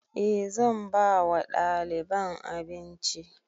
E zan ba wa ɗaliban abinci